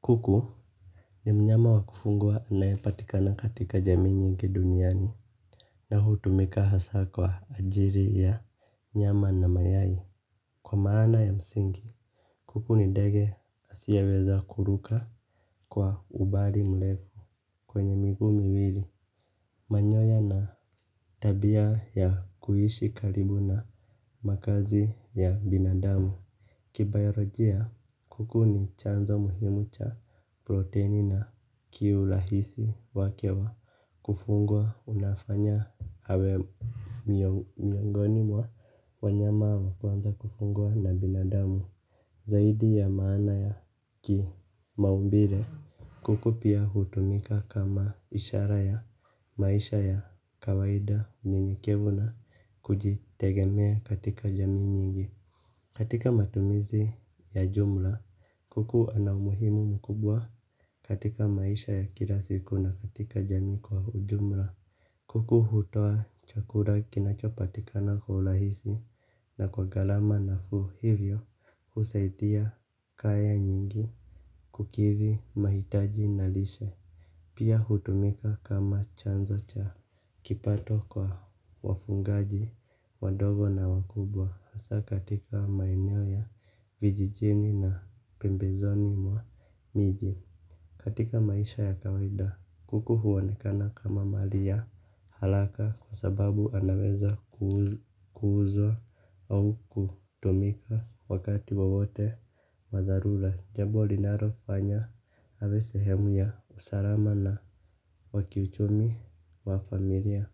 Kuku ni mnyama wa kufungua anaepatikana katika jamii nyingi duniani na hutumika hasa kwa ajiri ya nyama na mayai kwa maana ya msingi kuku ni ndege asiyeweza kuruka kwa umbali mrefu. Kwenye migu miwili manyoya na tabia ya kuishi karibu na makazi ya binadamu kibayorajia kuku ni chanzo muhimu cha proteini na kiulahisi wake wa kufungwa unafanya awe miongoni mwa wanyama wa kwanza kufungwa na binadamu. Zaidi ya maana ya kimaumbile kuku pia hutumika kama ishara ya maisha ya kawaida nyenyekevu na kujitegemea katika jamii nyingi. Katika matumizi ya jumla kuku anaumuhimu mkubwa katika maisha ya kila siku na katika jamii kwa ujumla. Kuku hutoa chakura kinachopatikana kwa ulahisi na kwa galama nafuu hivyo husaidia kaya nyingi kukithi mahitaji na lishe. Pia hutumika kama chanzo cha kipato kwa wafungaji wadogo na wakubwa hasa katika maeneo ya vijijini na pembezoni mwa miji katika maisha ya kawaida kuku huonekana kama mali ya haraka kwa sababu anaweza kuuzwa kuzwa au kutumika wakati wowote wa dharula. Jambo linarofanya awe sehemu ya usalama na wa kiuchumi wa familia.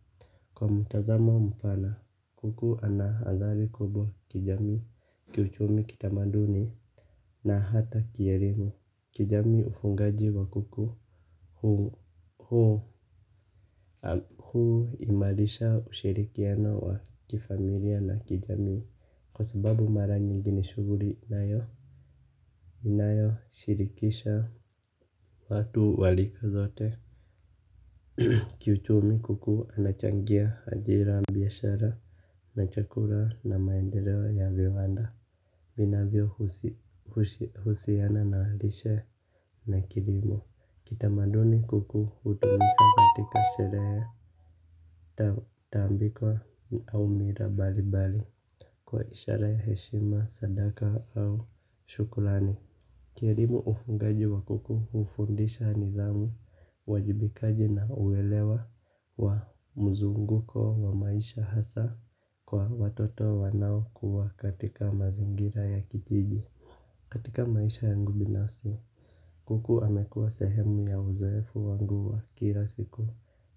Kwa mtazamo mpana kuku anahazali kubwa kijamii kiuchumi kitamaduni na hata kierimo. Kijamii ufungaji wa kuku huu imalisha ushirikiana wa kifamilia na kijami. Kwa sababu mara nyingine shuguli inayo shirikisha watu wa lika zote. Kiuchumi kuku anachangia hajira biashara na chakura na maendeleo ya viwanda vinavyo husiana na lishe na kilimo. Kitamaduni kuku utumika katika sheree. Tambiko au mila bali bali kwa ishara ya heshima, sadaka au shukulani kielimu ufungaji wa kuku hufundisha nidhamu, uwajibikaji na uwelewa wa mzunguko wa maisha hasa kwa watoto wanao kuwa katika mazingira ya kijiji. Katika maisha yangu binafsi, kuku amekuwa sehemu ya uzoefu wangu wa kilasiku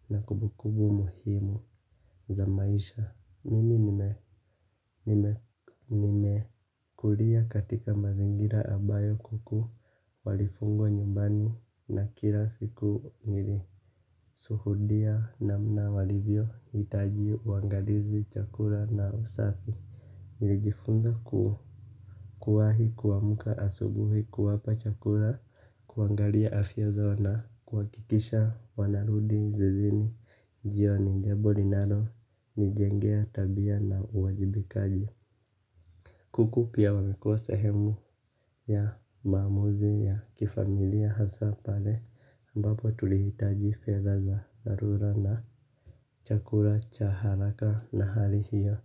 na kubukubu muhimu za maisha. Mimi nimekulia katika mazingira ambayo kuku walifungwa nyumbani na kila siku nilisuhudia namna walivyo itaji uangalizi chakula na usafi. Nilijifunza kuwahi kuamuka asubuhi kuwapa chakula, kuangalia afya zao na, kuwakikisha wanarudi, zizini, jioni, jabo linalo, nijengea, tabia na uwajibikaji. Kuku pia wamekua sahemu ya maamuzi ya kifamilia hasa pale ambapo tulihitaji fedha za dharura na chakura cha haraka na hali hiyo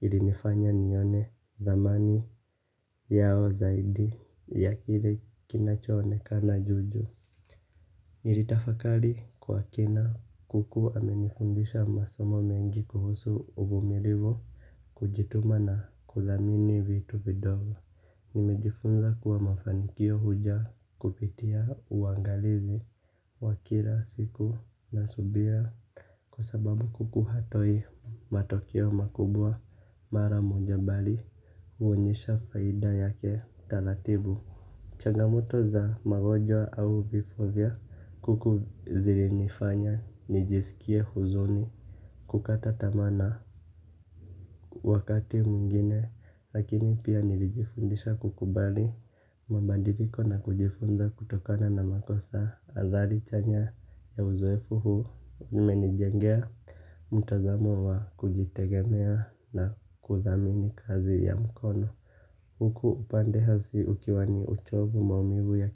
ilinifanya nione dhamani yao zaidi ya kile kinacho onekana juju. Niritafakali kwa kina kuku amenifundisha masomo mengi kuhusu uvumilivu kujituma na kuthamini vitu vidogo. Nimejifunza kuwa mafanikio huja kupitia uangalizi wa kila siku na subira kwa sababu kuku hatoi matokeo makubwa mara moja bali huonyesha faida yake taratibu. Changamoto za magomjwa au vifo vya kuku zilinifanya nijisikie huzuni kukata tamaa na wakati mwingine lakini pia nilijifundisha kukubali mabadiliko na kujifunza kutokana na makosa azali chanya ya uzoefu huu umenijengea mtazamo wa kujitegemea na kuthamini kazi ya mkono. Huku upande hasi ukiwani uchovu maumivu ya.